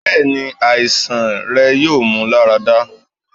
bẹẹni, aisan rẹ yoo mu larada